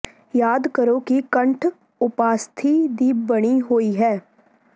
ਯਾਦ ਕਰੋ ਕਿ ਕੰਠ ਉਪਾਸਥੀ ਦੀ ਬਣੀ ਹੋਈ ਹੈ